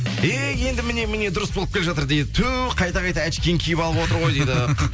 эй енді міне міне дұрыс болып келе жатыр дейді ту қайта қайта очкиін киіп алып отыр ғой дейді